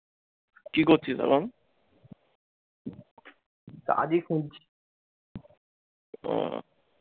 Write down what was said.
কি করছিস এখন? ও।